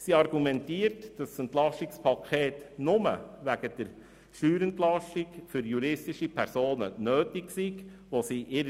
Sie argumentiert, dass das EP nur wegen der Steuerentlastung für juristische Personen nötig sei.